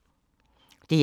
DR2